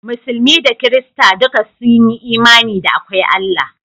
Musulmi da Kirista duka sun yi imani da akwai Allah